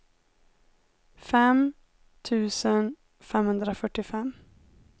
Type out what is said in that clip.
fem tusen femhundrafyrtiofem